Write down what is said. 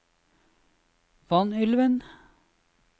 Vanylven